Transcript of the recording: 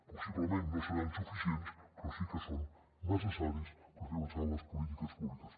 possiblement no seran suficients però sí que són necessaris per fer avançar les polítiques públiques